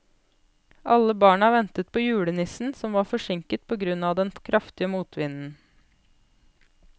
Alle barna ventet på julenissen, som var forsinket på grunn av den kraftige motvinden.